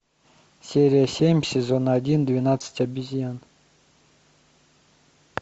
серия семь сезона один двенадцать обезьян